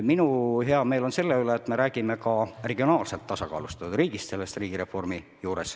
Mul on hea meel selle üle, et me räägime riigireformi juures ka regionaalselt tasakaalustatud riigist.